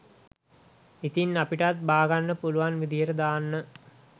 ඉතින් අපිටත් බා ගන්න පුලුවන් විදියට දාන්න